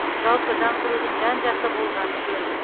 жалпы жаңғырудың жан жақты болғаны жөн